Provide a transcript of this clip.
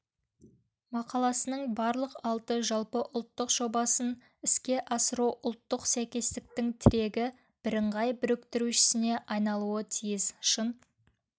мақаласының барлық алты жалпыұлттық жобасын іске асыру ұлттық сәйкестіктің тірегі бірыңғай біріктірушісіне айналуы тиіс шын